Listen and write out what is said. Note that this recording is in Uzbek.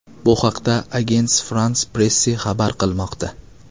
Bu haqida Agence France-Presse xabar qilmoqda .